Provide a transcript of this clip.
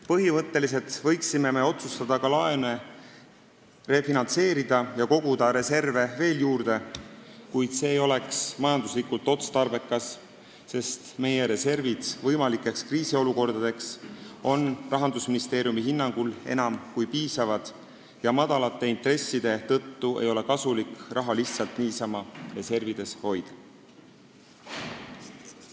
Põhimõtteliselt võiksime me otsustada ka laene refinantseerida ja koguda reserve veel juurde, kuid see ei oleks majanduslikult otstarbekas, sest meie reservid on võimalike kriisiolukordade jaoks Rahandusministeeriumi hinnangul enam kui piisavad ja madalate intresside tõttu ei ole kasulik raha lihtsalt niisama reservides hoida.